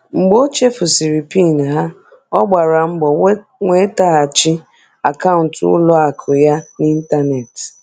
Mgbe o chefurusiri PIN ha, ọ gbara mbọ nwetaghachi akaụntụ ụlọ akụ ya n'ịntanetị.